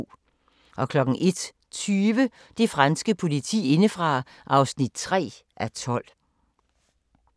01:20: Det franske politi indefra (3:12)